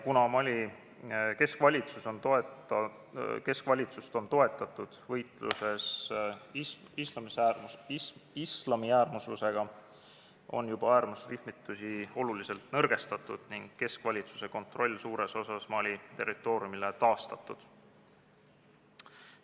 Kuna Mali keskvalitsust on toetatud võitluses islamiäärmuslusega, on juba äärmusrühmitusi oluliselt nõrgestatud ning keskvalitsuse kontroll suures osas Mali territooriumile taastatud.